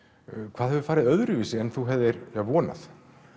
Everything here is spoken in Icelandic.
hvað hefur farið öðruvísi en þú hefðir vonað